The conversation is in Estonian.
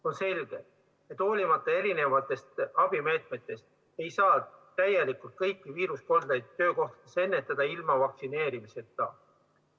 On selge, et hoolimata erinevatest abimeetmetest ei saa täielikult kõiki viiruskoldeid töökohtades ennetada ilma vaktsineerimiseta.